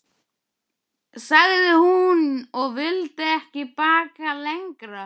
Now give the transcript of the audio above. sagði hún, og vildi ekki bakka lengra.